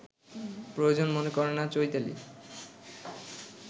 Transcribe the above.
প্রয়োজন মনে করে না চৈতালি